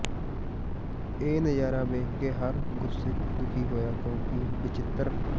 ਇਹ ਨਜ਼ਾਰਾ ਵੇਖ ਕੇ ਹਰ ਗੁਰਸਿਖ ਦੁਖੀ ਹੋਇਆ ਕਿਉਂਕਿ ਬਚਿੱਤ੍ਰ